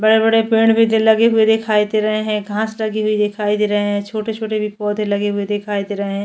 बड़े - बड़े पेड़ भी लगे हुए दिखाई दे रहे है घास लगी हुए दिखाई दे रहे है छोटे - छोटे भी पौधे लगे हुए दिखाई दे रहे है।